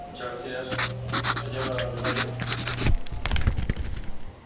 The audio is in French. Monsieur le Président, Monsieur le Commissaire, chers collègues, ce rapport est primordial.